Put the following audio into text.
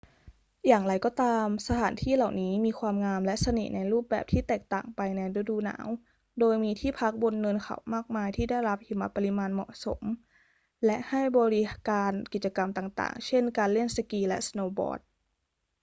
อย่างไรก็ตาม สถานที่เหล่านี้มีความงามและเสน่ห์ในรูปแบบที่แตกต่างไปในฤดูหนาว โดยมีที่พักบนเนินเขามากมายที่ได้รับหิมะปริมาณเหมาะสมและให้บริการกิจกรรมต่าง ๆ เช่น การเล่นสกีและสโนว์บอร์ด